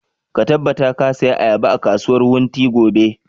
Ka tabbata ka saya ayaba a kasuwar wunti gobe!